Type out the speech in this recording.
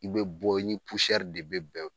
I bɛ bɔ, i ni de bɛ bɛn